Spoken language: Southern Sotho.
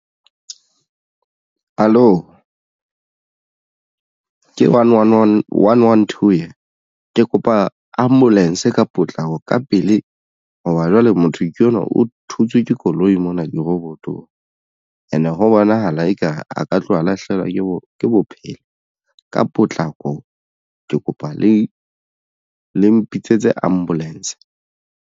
Hallo, ke one one two ena ke kopa ambulance ka potlako ka pele hoba jwale motho enwa o thutswe ke koloi mona dirobotong. And ho bonahala eka a ka tloha lahlehelwa ke bophelo ka potlako ke kopa le mpitsetse ambulance.